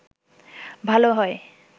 ভাল হয়